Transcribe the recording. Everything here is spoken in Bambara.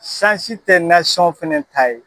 Sansi tɛ fɛnɛ ta ye.